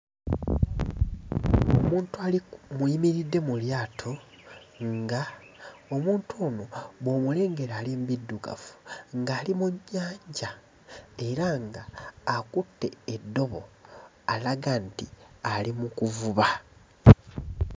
Omuntu ali ku muyimiridde mu lyato nga omuntu ono bw'omulengera ali mbiddugavu ng'ali mu nnyanja era nga akutte eddobo alaga nti ali mu kuvuba.